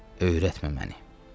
Öyrətmə məni.